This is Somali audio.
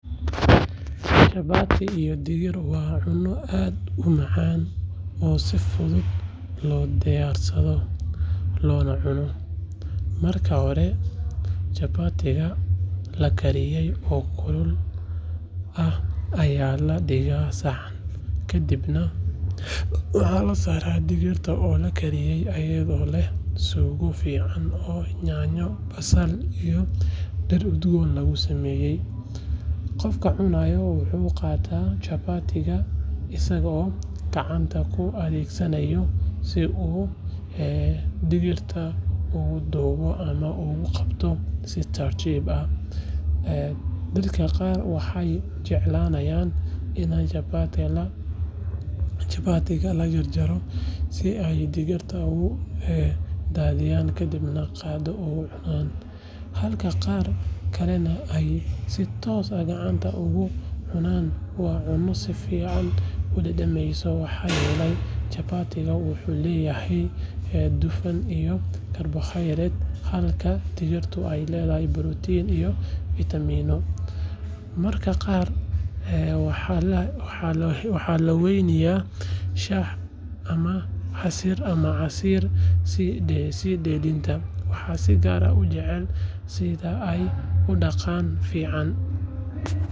Chapati iyo digir waa cunno aad u macaan oo si fudud loo diyaarsado loona cuno. Marka hore chapati-ga la kariyay oo kulul ah ayaa la dhigaa saxan, kadibna waxaa la saaraa digirta oo la kariyay iyadoo leh suugo fiican oo yaanyo, basal iyo dhir udgoon lagu sameeyay. Qofka cunaya wuxuu qaataa chapati-ga isagoo gacanta u adeegsanaya si uu digirta ugu duubo ama ugu qaato si tartiib ah. Dadka qaar waxay jeclaanayaan inay chapati-ga la jarjaro si ay digirta ugu daadiyaan kadibna qaaddo ugu cunaan, halka qaar kalena ay si toos ah gacanta uga cunaan. Waa cunno si fiican u dhammaystiran maxaa yeelay chapati-ga wuxuu leeyahay dufan iyo carbohydrates halka digirtuna ay leedahay borotiin iyo fiitamiinno. Mararka qaar waxaa la weheliyaa shaah ama casiir si dheellitiran. Waxaan si gaar ah u jeclahay sida ay u dhadhan fiican.